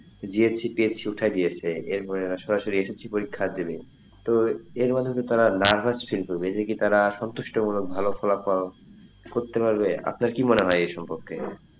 GHCPHC উঠায়া দিয়েছে এর পড়ে এরা সরাসরি SSC পরীক্ষা দেবে তো এর মাধ্যমে তারা nervous feel করবে এদেরকে তারা সন্তুষ্ট মূলক ভালো ফলাফল করতে পারবে আপনার কি মনে হয় এই সম্পর্কে,